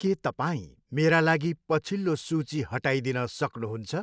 के तपाईँ मेरा लागि पछिल्लो सूची हटाइदिन सक्नुहुन्छ?